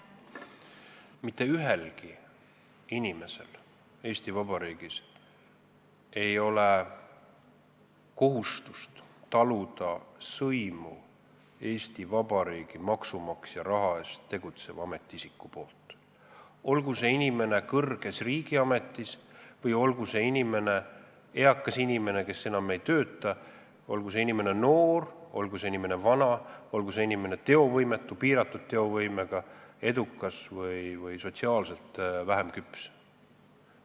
Mitte ühelgi inimesel Eesti Vabariigis ei ole kohustust taluda Eesti Vabariigi maksumaksja raha eest tegutseva ametiisiku sõimu, olgu see inimene kõrges riigiametis, olgu see inimene eakas inimene, kes enam ei tööta, olgu see inimene noor, olgu see inimene vana, olgu see inimene teovõimetu või piiratud teovõimega, edukas või sotsiaalselt vähem küps.